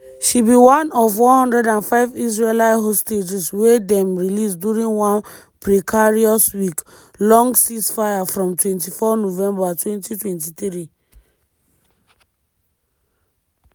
she be one of 105 israeli hostages wy dem release during one precarious week-long ceasefire from 24 november 2023.